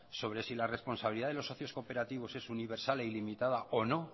sobre si la responsabilidad de los socios cooperativos es universal e ilimitada o no